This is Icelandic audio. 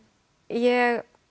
ég